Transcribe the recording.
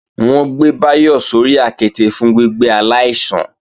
Wọ́n ń gbé Báyọ̀ sórí àketè fún gbígbé aláìsàn